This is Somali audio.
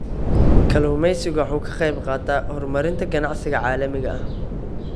Kalluumaysigu waxa uu ka qayb qaataa horumarinta ganacsiga caalamiga ah.